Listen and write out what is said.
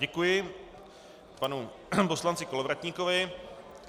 Děkuji panu poslanci Kolovratníkovi.